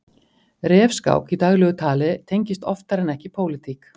Refskák í daglegu tali tengist oftar en ekki pólitík.